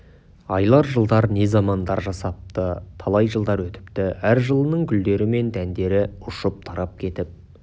айлар жылдар не замандар жасапты талай жылдар өтіпті әр жылының гүлдері мен дәндері ұшып тарап кетіп